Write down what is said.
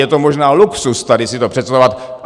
Je to možná luxus tady si to představovat.